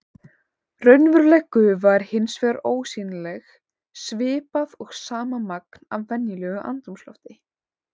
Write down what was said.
Raunveruleg gufa er hins vegar ósýnileg svipað og sama magn af venjulegu andrúmslofti.